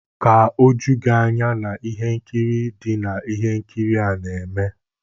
Ka oju gị anya na ihe nkiri dị na ihe nkiri a na-eme.